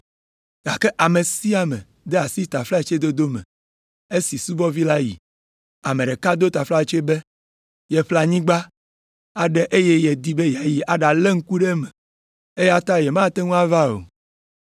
“Gake ame sia ame de asi taflatsedodo me esi subɔvi la yi. Ame ɖeka do taflatse be yeƒle anyigba aɖe eye yedi be yeayi aɖalé ŋku ɖe eme, eya ta yemate ŋu ava o.